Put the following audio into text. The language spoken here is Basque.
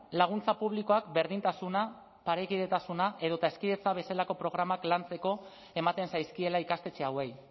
laguntza publikoak berdintasuna parekidetasuna edo eta hezkidetza bezalako programak lantzeko ematen zaizkiela ikastetxe hauei